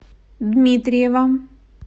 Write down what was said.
дмитриева